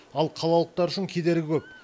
ал қалалықтар үшін кедергі көп